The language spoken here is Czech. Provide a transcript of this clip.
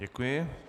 Děkuji.